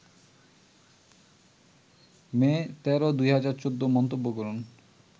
মে ১৩, ২০১৪ মন্তব্য করুন